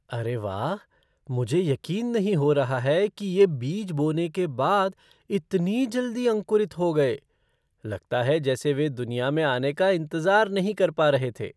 अरे वाह, मुझे यकीन नहीं हो रहा है कि ये बीज बोने के बाद इतनी जल्दी अंकुरित हो गए। लगता है जैसे वे दुनिया में आने का इंतज़ार नहीं कर पा रहे थे!